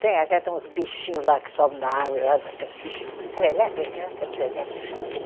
Tem, até tem uns bichinho lá que sobem na árvore lá, aqueles bichinho, serelepe, é serelepe que chama aquele